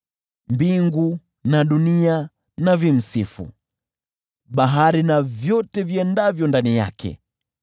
Mbingu na dunia zimsifu, bahari na vyote viendavyo ndani yake,